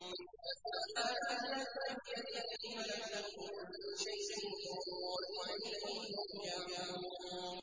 فَسُبْحَانَ الَّذِي بِيَدِهِ مَلَكُوتُ كُلِّ شَيْءٍ وَإِلَيْهِ تُرْجَعُونَ